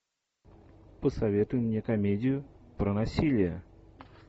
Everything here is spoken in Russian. посоветуй мне комедию про насилие